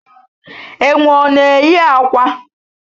Enwe ọ na eyi akwa?